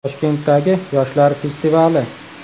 Toshkentdagi yoshlar festivali.